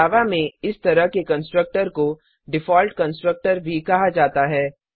जावा में इस तरह के कंस्ट्रक्टर को डिफॉल्ट कंस्ट्रक्टर भी कहा जाता है